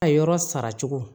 A yɔrɔ sara cogo